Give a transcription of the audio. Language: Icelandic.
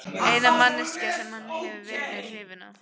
Eina manneskjan sem hann hefur verið hrifinn af.